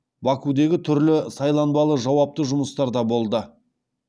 бакудегі түрлі сайланбалы жауапты жұмыстарда болды